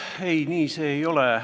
Ei, nii see ei ole.